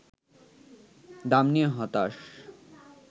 দাম নিয়ে হতাশ